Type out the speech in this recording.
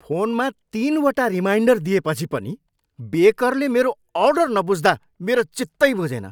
फोनमा तिनवटा रिमाइन्डर दिएपछि पनि बेकरले मेरो अर्डर नबुझ्दा मेरो चित्तै बुझेन।